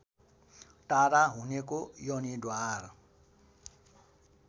टाढा हुनेको योनिद्वार